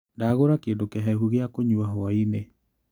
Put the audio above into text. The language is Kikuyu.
Ndagũra kĩndũ kĩhehu gĩa kũnyua hwainĩ.